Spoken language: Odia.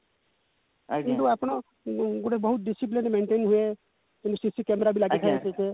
କିନ୍ତୁ ଆପଣ ଗୋଟେ ବହୁତ discipline maintain ହୁଏ ଯେମିତି CC camera ବି ଲାଗିଥାଏ ସେଠି